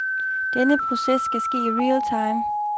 Den proces skal ske i realtime.